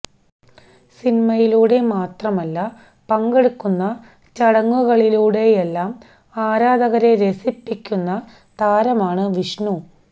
സിനിമയിലൂടെ മാത്രമല്ല പങ്കെടുക്കുന്ന ചടങ്ങുകളിലൂടെയെല്ലാം ആരാധകരെ രസിപ്പിക്കുന്ന താരമാണ് വിഷ്ണു